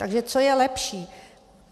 Takže co je lepší?